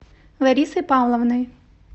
ларисой павловной